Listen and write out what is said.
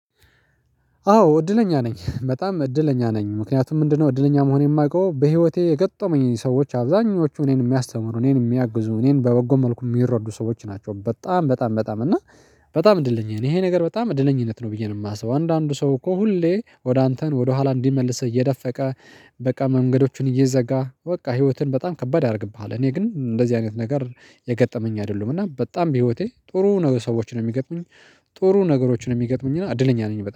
አዎ እድለኛ ነኝ በጣም እድለኛ ነኝ ምክንያቱም ምንድነው? እድለኛ መሆኔን ማቀው በህይወቴ የገጠሙኝ ሰዎች አብዛኞቹ እኔን ሚያስተምሩ እኔን ሚያግዙ እኔን በበጎ መልኩ ሚረዱ ሰዎች ናቸው በጣም በጣም በጣም እና በጣም እንደለኛ ነኝ ይሄ ነገር በጣም እድለኝነት ነው ብዬ ነው። የማስበው አንዳንዱ ሰው እኮ ሁሌ ወደ አንተን ወደ ኋላ እንዲመልስህ እየደፈቀ በቃ መንገዶቹን እየዘጋ በቃ ህይወትን በጣም ከባድ ያረግብሃል። እኔ ግን እንደዚህ አይነት ነገር የገጠመኝ አይደሉም እና በጣም በህይወቴ ጥሩ ነ ሰዎችን ነው የሚገጥሙኝ። ጥሩ ነገሮችን የሚገጥሙኝና አድለኛ ነኝ